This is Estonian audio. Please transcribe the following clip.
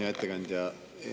Hea ettekandja!